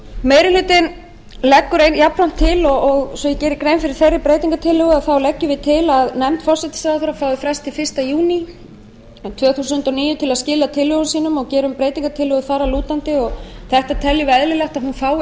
meiri hlutinn leggur jafnframt til svo að ég geri grein fyrir þeirri breytingartillögu leggjum við til að nefnd forsætisráðherra fái frest til fyrsta júní tvö þúsund og níu til að skila tillögum sínum og gerum breytingartillögu þar að lútandi þetta teljum við eðlilegt að hún fái